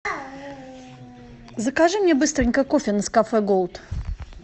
закажи мне быстренько кофе нескафе голд